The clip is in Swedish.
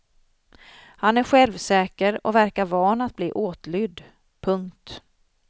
Han är självsäker och verkar van att bli åtlydd. punkt